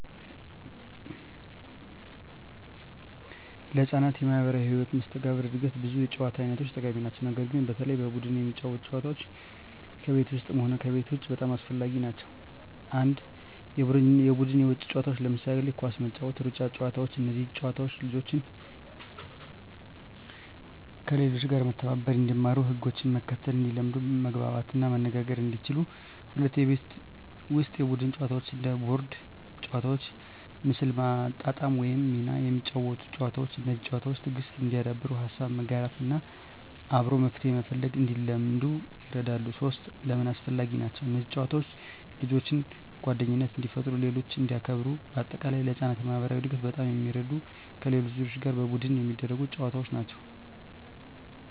ለሕፃናት የማኅበራዊ መስተጋብር እድገት ብዙ የጨዋታ አይነቶች ጠቃሚ ናቸው። ነገር ግን በተለይ በቡድን የሚጫወቱ ጨዋታዎች ከቤት ውስጥም ሆነ ከቤት ውጭ በጣም አስፈላጊ ናቸው። 1. የቡድን የውጭ ጨዋታዎች ለምሳሌ ኳስ መጫወት፣ ሩጫ ጨዋታዎች እነዚህ ጨዋታዎች ልጆችን፦ ከሌሎች ጋር መተባበር እንዲማሩ ህጎችን መከተል እንዲለምዱ መግባባት እና መነጋገር እንዲችሉ 2. የቤት ውስጥ የቡድን ጨዋታዎች እንደ ቦርድ ጨዋታዎች፣ ምስል ማጣጣም ወይም ሚና የሚያጫውቱ ጨዋታዎች። እነዚህ ጨዋታዎች፦ ትዕግሥት እንዲያዳብሩ፣ ሀሳብ መጋራት እና አብሮ መፍትሄ መፈለግ እንዲለምዱ ይረዳሉ። 3. ለምን አስፈላጊ ናቸው? እነዚህ ጨዋታዎች ልጆችን፦ ጓደኝነት እንዲፈጥሩ ሌሎችን እንዲያክብሩ -በ አጠቃላይ: ለሕፃናት የማኅበራዊ እድገት በጣም የሚረዱት ከሌሎች ልጆች ጋር በቡድን የሚደረጉ ጨዋታዎች ናቸው።